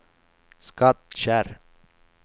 Skattkärr